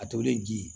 A tolen ji